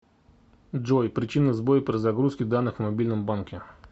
джой причины сбоя при загрузке данных в мобильном банке